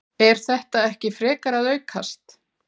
Er þetta ekki frekar að aukast?